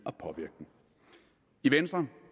i venstre